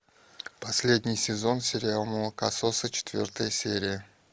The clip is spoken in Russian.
последний сезон сериал молокососы четвертая серия